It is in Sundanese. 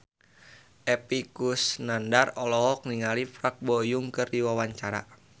Epy Kusnandar olohok ningali Park Bo Yung keur diwawancara